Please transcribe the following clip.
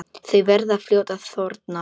Þau verða fljót að þorna.